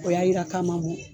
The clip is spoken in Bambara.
O y'a jira k'a ma mɔ